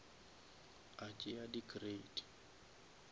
a tšea di crate